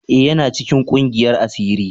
E,yana cikin ƙungiyan asiri.